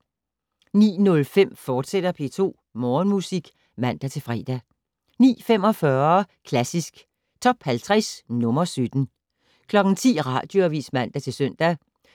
09:05: P2 Morgenmusik, fortsat (man-fre) 09:45: Klassisk Top 50 - nr. 17 10:00: Radioavis (man-søn)